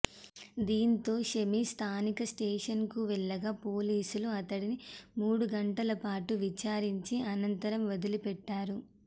దీంతో షమీ స్థానిక స్టేషన్కు వెళ్లగా పోలీసులు అతడిని మూడు గంటల పాటు విచారించి అనంతరం వదిలిపెట్టారు